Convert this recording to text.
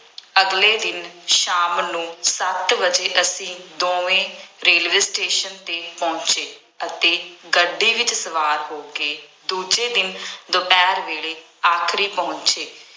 ਅਗਲੇ ਦਿਨ ਸ਼ਾਮ ਨੂੰ ਸੱਤ ਵਜੇ ਅਸੀਂ ਦੋਵੇਂ ਰੇਲਵੇ ਸਟੇਸ਼ਨ ਤੇ ਪਹੁੰਚੇ ਅਤੇ ਗੱਡੀ ਵਿੱਚ ਸਵਾਰ ਹੋ ਕੇ ਦੂਜੇ ਦਿਨ ਦੁਪਹਿਰ ਵੇਲੇ ਆਗਰੇ ਪਹੁੰਚੇ।